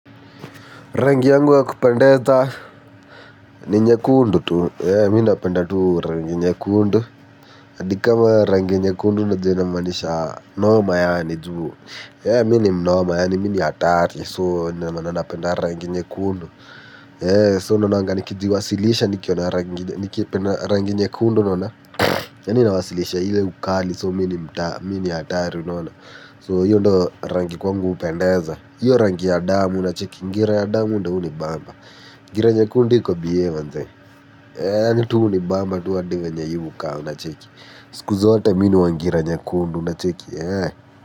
Rangi yangu yakupendeza ni nyekundu tu, mi napenda tu rangi nyekundu. Adikama rangi nyekundu na jena manisha norma yaani juu. Mini mnorma yaani mini atari so na nana penda rangi nyekundu So na nangani kidi wasilisha niki yona rangi nyekundu nona. Yani nawasilisha hile ukali so mini atari nona So yondo rangi kwangu upendeza. Yora ngi ya adamu na chiki. Ngira ya adamu nda uni bamba. Ngira ya kundu hiko biewa nze Eee nitu uni bamba. Tua diva nye hivu kaa na chiki. Skuza wate minu wa ngira ya kundu na chiki Eee.